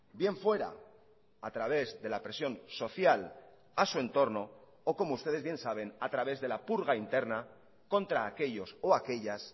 bien fuera a través de la presión social a su entorno o como ustedes bien saben a través de la purga interna contra aquellos o aquellas